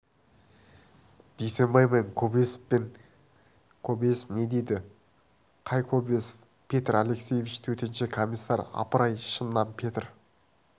дүйсенбай мен кобозевпін кобозев не дейді қай кобозев петр алексеевич төтенше комиссар апыр-ай шыннан петр